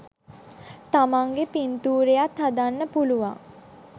තමන්ගෙ පින්තූරයත් හදන්න පුළුවන්